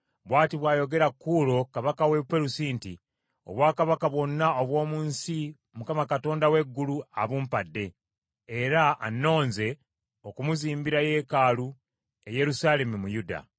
“Bw’ati bw’ayogera Kuulo kabaka w’e Buperusi nti, “ ‘Obwakabaka bwonna obw’omu nsi Mukama Katonda w’eggulu abumpadde, era annonze okumuzimbira yeekaalu e Yerusaalemi mu Yuda.